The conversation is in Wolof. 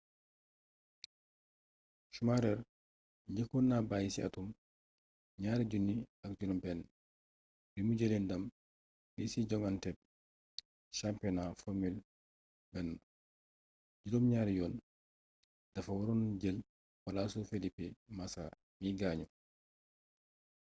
schumacher njëkkoon na bàyyi ci atum 2006 bi mu jëlee ndam li ci joŋanteb championnat formule 1 juróom ñaari yoon dafa waroon jël palaasu felipe massa mi gaañu